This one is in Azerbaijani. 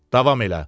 Davam elə.